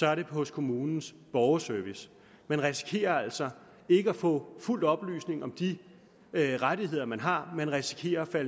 er det hos kommunens borgerservice man risikerer altså ikke at få fuld oplysning om de rettigheder man har man risikerer at